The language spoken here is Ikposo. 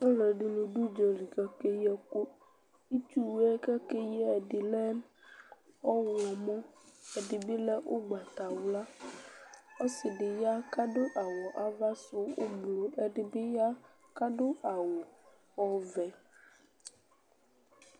Aluɛdini du udzali ku akeyi ɛku itsuwu yɛ ku akeyi ɛdi lɛ ɔɣlomɔ ɛdibi lɛ ugbatawla ɔsidibi ya ku adu awu avasu ublu ɛdibi ya ku adu awu ɔvɛ